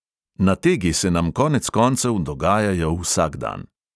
Nategi se nam konec koncev dogajajo vsak dan.